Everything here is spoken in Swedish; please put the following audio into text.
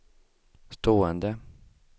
stående